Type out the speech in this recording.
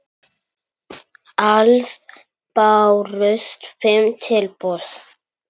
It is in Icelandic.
Alls bárust fimm tilboð.